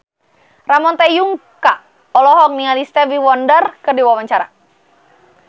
Ramon T. Yungka olohok ningali Stevie Wonder keur diwawancara